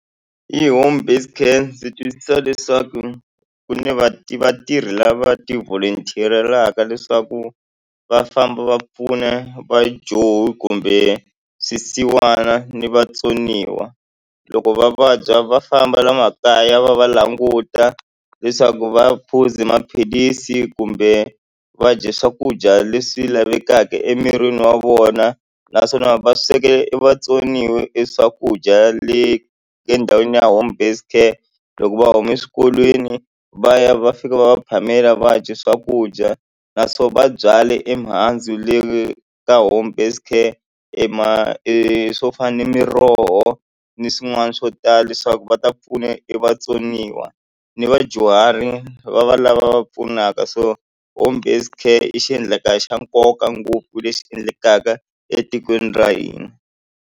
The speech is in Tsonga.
Hi home based care ndzi twisisa leswaku ku ni vatirhi lava ti-volunter-elaka leswaku va famba va pfuna va johi kumbe swisiwana ni vatsoniwa loko va vabya va famba la makaya va va languta leswaku va phuzi maphilisi kumbe va dya swakudya leswi lavekaka emirini wa vona naswona va swekela i vatsoniwa e swakudya le endhawini ya home based care loko va huma exikolweni va ya va fika va va phamela va ha dyi swakudya na swo va byale emihandzu le ka home based care ema e swo fana na miroho ni swin'wana swo tala leswaku va ta pfuna i vatsoniwa ni vadyuhari va va lava va pfunaka so home based care i xiendlakala xa nkoka ngopfu leswi endlekaka etikweni ra hina.